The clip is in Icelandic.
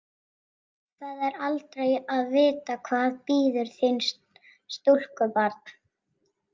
Það er aldrei að vita hvað bíður þín, stúlkubarn.